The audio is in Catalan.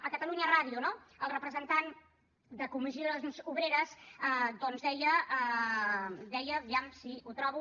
a catalunya ràdio no el representant de comissions obreres doncs deia a veure si ho trobo